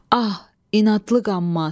Ah, inadlı qamz.